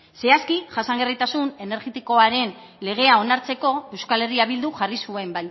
zehazki jasangarritasun energetikoaren legea onartzeko euskal herria bilduk jarri zuen